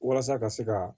Walasa ka se ka